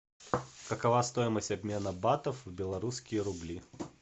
какова стоимость обмена батов в белорусские рубли